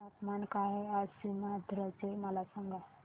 तापमान काय आहे आज सीमांध्र चे मला सांगा